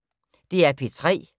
DR P3